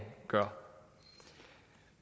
gør